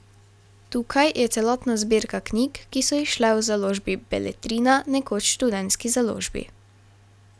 Tukaj je celotna zbirka knjig, ki so izšle v založbi Beletrina, nekoč Študentski založbi.